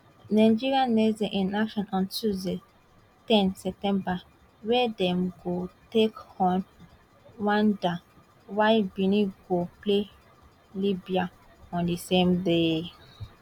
nigeria next dey in action on tuesday ten september wia dem go take on rwanda while benin go play libya on di same day